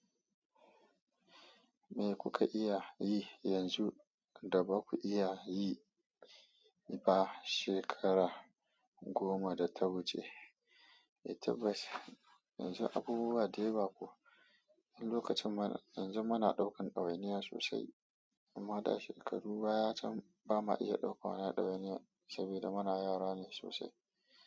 Me kuka iya yi yanzu da ba ku iya yi ba shekara goma da ta wuce eh tabas, yanzu abubuwa da yawa ko, lokacin mana, yanzu muna ɗaukan ɗawainiya sosai, amma da shekaru baya can bama iya ɗauka ɗawainiya sabida muna yara ne sosai.